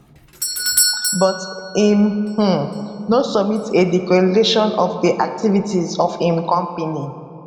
but im um no submit a declaration of di activities of im company